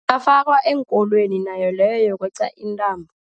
Ingafakwa eenkolweni nayo leyo yokweqa intambo.